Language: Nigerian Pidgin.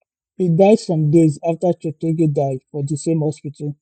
e die some days aftacheptegei die for di same hospital